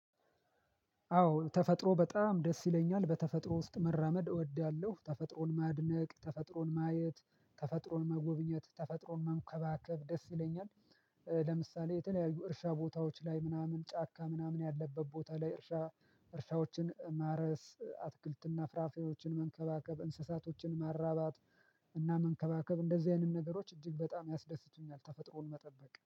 አዎ ተፈጥሮ በጣም ደስ ይለኛል በተፈጥሮ ውስጥ መራመድ እወዳለሁ ተፈጥሮን ማድነቅ ተፈጥሮን ማየት ተፈጥሮን መጎብኘት ተፈጥሮን መንከባከብ ደስ ይለኛል። ለምሳሌ የተለያዩ እርሻ ቦታዎች ላይ ምናምን ጫካ ምናምን ያለበት ቦታ ላይ እርሻ እርሻዎችን ማረስ አትክልትና ፍራፍሬዎችን መንከባከብ እንስሳቶችን ማራባት እና መንከባከብ እንደዚህ አይነት ነገሮች እጅግ በጣም ያስደስቱኛል ተፈጥሮን መጠበቅ